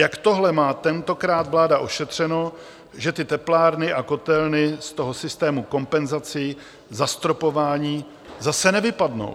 Jak tohle má tentokrát vláda ošetřeno, že ty teplárny a kotelny z toho systému kompenzací zastropování zase nevypadnou?